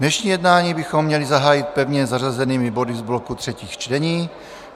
Dnešní jednání bychom měli zahájit pevně zařazenými body z bloku třetích čtení.